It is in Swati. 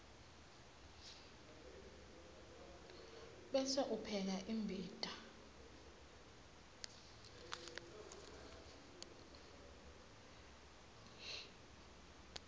bese upheka imbita